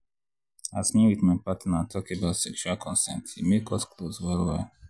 as me with me with my partner talk about sexual consent e come make us close well well.